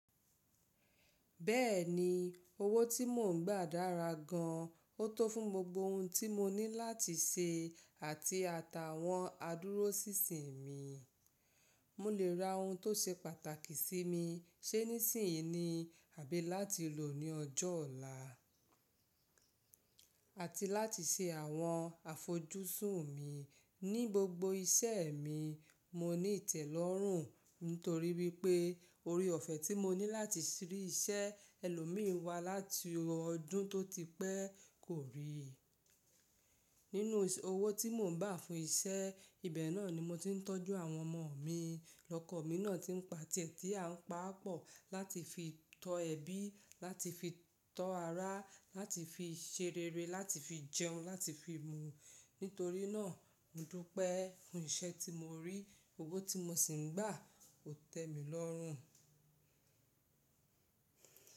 Bẹ́ẹ̀ni, owó tí mò ń gbà dára gan. Ó tó fún gbogbo ohun tí mo ní láti ṣe àti ata àwọn adúróṣinṣìn mi. Mò lè ra ohun tó ṣe pàtàkì sí mi, ṣé nísìnyí ni àbí láti lò ní ọjọ́ ọ̀la àti láti ṣe àwọn àfojúsùn mi. Ní gbogbo iṣẹ́ mi, mo ní ìtẹ́lọ́rùn nítorí wípé orí ọ̀fẹ́ tí mo ní láti rí iṣẹ́ ẹlòmíì wá láti ọdún tó ti pẹ́ kò rí. Nínú owó tí mò ń gbà fún iṣẹ́, ibẹ̀ náà ni mo ti ń tọ́jú àwọn ọmọ mi. Lọ́kọ mi náà ti ń pa tẹ̀tẹ̀ à ń pa pọ̀ láti fi tọ ẹbí, láti fi tọ ará, láti fi ṣere, láti fi jẹun, láti fi mu. Nítorí náà, mo dúpẹ́ fun iṣẹ́ tí mo rí, owó tí mo sì ń gbà ó tẹ mí lọ́rùn.